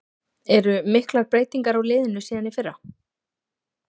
Eru miklar breytingar á liðinu síðan í fyrra?